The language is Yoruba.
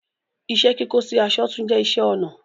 Ìṣẹ̀-kíkọ̀ sì àṣọ̀ tún jẹ̀ ìṣẹ̀-ọnà